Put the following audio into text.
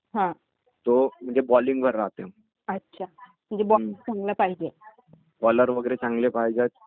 हम्मम.......म्हणजे pressure राहिले ना तर कसं आपण कव्हर पण करु शकतो आणि आपल्या रन कमी असले ना तरी